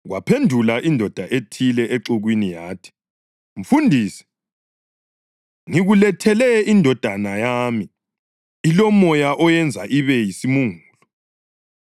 Kwaphendula indoda ethile exukwini yathi, “Mfundisi, ngikulethele indodana yami ilomoya oyenza ibe yisimungulu.